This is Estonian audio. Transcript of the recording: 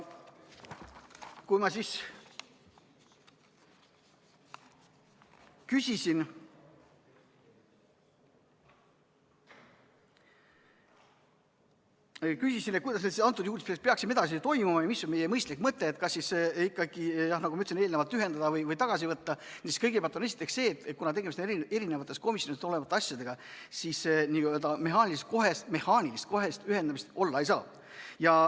Kui ma küsisin, kuidas me peaksime edasi toimima ja mis oleks mõistlik mõte – kas siis tuleks ikkagi, nagu ma enne ütlesin, need eelnõud ühendada või üks neist tagasi võtta –, siis öeldi, et kuivõrd tegemist on eri komisjonides olevate asjadega, siis mehaanilist kohest ühendamist olla ei saa.